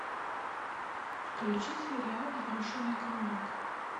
включи сериал брошенный кролик